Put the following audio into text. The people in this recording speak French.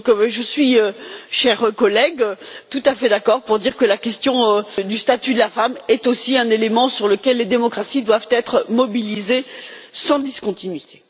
Je suis donc, chers collègues, tout à fait d'accord pour dire que la question du statut de la femme est aussi un élément sur lequel les démocraties doivent être mobilisées sans discontinuité.